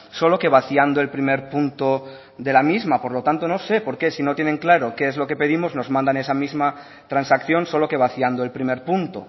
solo que vaciando el primer punto de la misma por lo tanto no sé por qué si no tienen claro qué es lo que pedimos nos mandan esa misma transacción solo que vaciando el primer punto